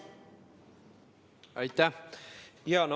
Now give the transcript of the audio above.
Aitäh!